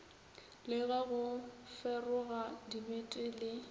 le go feroga dibete le